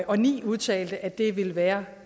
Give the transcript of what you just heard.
og ni udtalte at det ville være